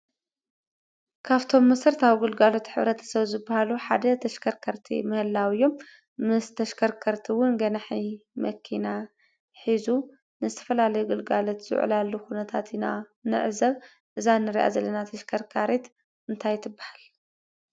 ካብቶም መሰረታዊ ግልጋሎት ሕ/ሰብ ዝባሃሉ ሓደ ተሽከርከቲ ምህላው እዩ፡፡ ምስ ተሽከርከርቲ እውን ገናሒ መኪና ሒዙ ንዝተፈላለዩ ግልጋሎት ዝውዕላሉ ኩነታት ኢና ንዕዘብ እዛ ንሪኣ ዘለና ተሽካሪት እንታይ ትባሃል?